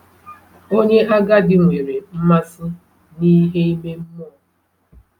Onye agadi nwere mmasị n’ihe ime mmụọ.